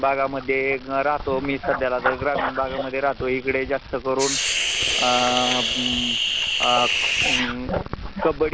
तिथे मग बऱ्याच प्रकारच्या नोकऱ्या असतात त्यामध्ये शिपाई त्याचामध्ये सेक्युरिटी म्हणजे वॉचमन ची असते